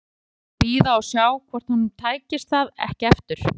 Það myndi bara bíða og sjá hvort honum tækist það ekki aftur.